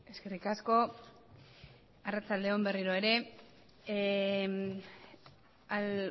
eskerrik asko arratsalde on berriro ere